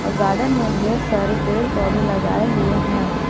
और गार्डन में ढेर सारे पेड़ पौधे लगाए हुए हैं।